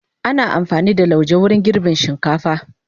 Ana amfani da lauje wajen girbin shinkafa.